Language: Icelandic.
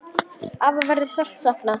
Afa verður sárt saknað.